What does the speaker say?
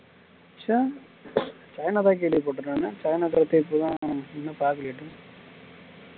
சீனா தன் கேள்விப்பட்ட